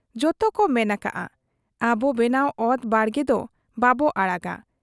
ᱡᱚᱛᱚ ᱠᱚ ᱢᱮᱱ ᱟᱠᱟᱜ ᱟ, ᱟᱵ ᱵᱮᱱᱟᱣ ᱚᱛ ᱵᱟᱲᱜᱮ ᱫᱚ ᱵᱟᱵᱚ ᱟᱲᱟᱜᱟ ᱾